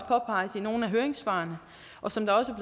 påpeges i nogle af høringssvarene og som det også